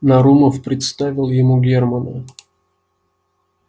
нарумов представил ему германна